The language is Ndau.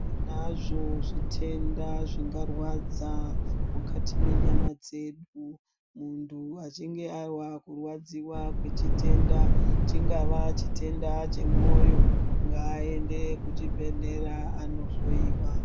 Tinazvo zvitenda zvingarwadza mukati menyama dzedu muntu achinge anzwa kurwadziwa kwechitenda chingava chitenda chemoyo ngaaende kuchibhedhlera anohloyiwa.